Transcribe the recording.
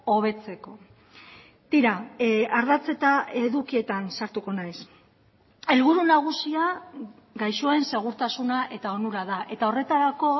hobetzeko tira ardatz eta edukietan sartuko naiz helburu nagusia gaixoen segurtasuna eta onura da eta horretarako